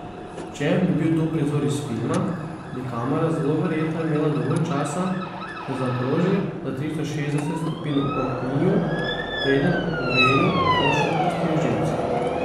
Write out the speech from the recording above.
Če bi bil to prizor iz filma, bi kamera zelo verjetno imela dovolj časa, da zaokroži za tristo šestdeset stopinj okrog njiju, preden Oveju končno popustijo živci.